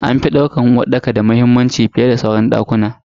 An fi daukar uwarɗaka da muhimmanci fiyeda sauran dakuna a cikin gida.